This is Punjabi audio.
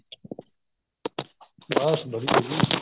ਬੱਸ ਵਧੀਆ ਜੀ